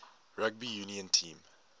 rugby union team